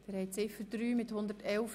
Abstimmung (Ziff. 3)